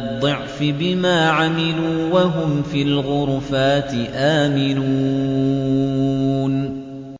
الضِّعْفِ بِمَا عَمِلُوا وَهُمْ فِي الْغُرُفَاتِ آمِنُونَ